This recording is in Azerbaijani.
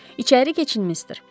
İçəri keçin, mister.